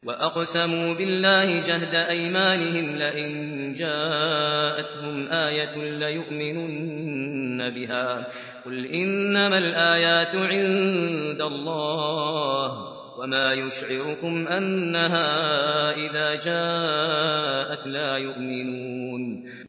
وَأَقْسَمُوا بِاللَّهِ جَهْدَ أَيْمَانِهِمْ لَئِن جَاءَتْهُمْ آيَةٌ لَّيُؤْمِنُنَّ بِهَا ۚ قُلْ إِنَّمَا الْآيَاتُ عِندَ اللَّهِ ۖ وَمَا يُشْعِرُكُمْ أَنَّهَا إِذَا جَاءَتْ لَا يُؤْمِنُونَ